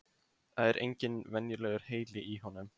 Það er engin venjulegur heili í honum.